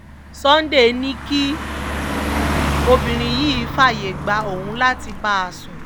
sunday ní kí obìnrin yìí fààyè gba òun láti bá a sùn